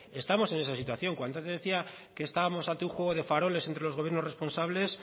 estamos en esa situación cuando antes decía que estábamos ante un juego de faroles entre los gobiernos responsables